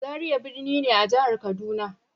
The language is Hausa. Zaria birni ne a jihar Kaduna.